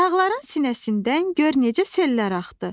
Dağların sinəsindən gör necə sellər axdı.